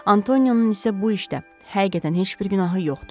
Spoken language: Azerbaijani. Antonionun isə bu işdə həqiqətən heç bir günahı yoxdur.